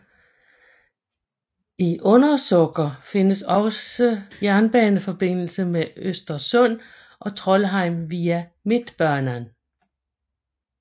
I Undersåker findes også jerbaneforbindelse med Östersund og Trondheim via Mittbanan